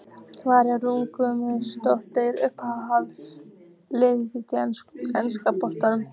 María Rún Gunnlaugsdóttir Uppáhalds lið í enska boltanum?